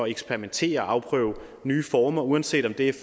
eksperimentere og afprøve nye former uanset om det er